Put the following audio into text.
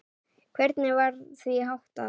Hvernig var því háttað?